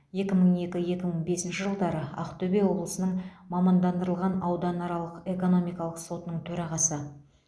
екі мың екі екі мың бесінші жылдары ақтөбе облысының мамандандырылған ауданаралық экономикалық сотының төрағасы